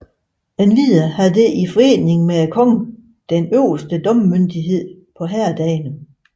Endvidere havde det i forening med kongen den øverste domsmyndighed på herredagene